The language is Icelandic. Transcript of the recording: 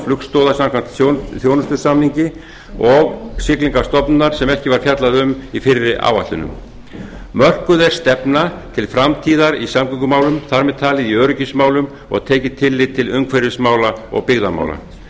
flugstoða samkvæmt þjónustusamningi og siglingastofnunar sem ekki var fjallað um í fyrri áætlunum mörkuð er stefna til framtíðar í samgöngumálum þar með talið í öryggismálum og tekið tillit til umhverfismála og byggðamála